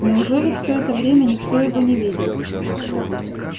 неужели всё это время никто его не видел